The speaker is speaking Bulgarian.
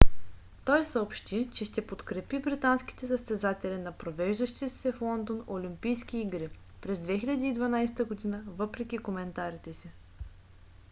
tой съобщи че ще подкрепи британските състезатели на провеждащите се в лондон олимпийски игри през 2012 г. въпреки коментарите си